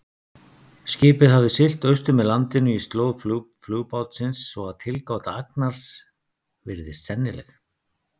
Skipið hafði siglt austur með landinu í slóð flugbátsins, svo að tilgáta Agnars virðist sennileg.